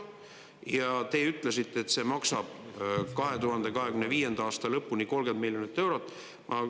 Ja te ütlesite, et see maksab 2025. aasta lõpuni 30 miljonit eurot.